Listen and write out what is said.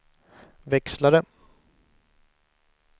växlare